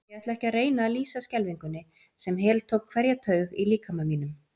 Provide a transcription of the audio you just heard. Ég ætla ekki að reyna að lýsa skelfingunni, sem heltók hverja taug í líkama mínum.